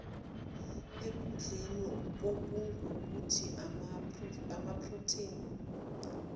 ekudleni okungukuthi amaprotheni